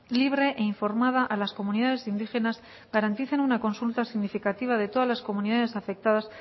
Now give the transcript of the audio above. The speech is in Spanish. libre e informada a las comunidades indígenas garanticen una consulta significativa de todas las comunidades afectadas